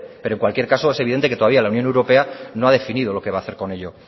pero en cualquier caso es evidente que todavía la unión europea no ha definido lo que va a hacer con ello